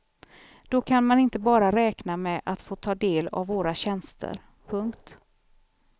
Då kan man inte bara räkna med att få ta del av våra tjänster. punkt